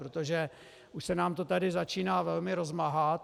Protože už se nám to tady začíná velmi rozmáhat.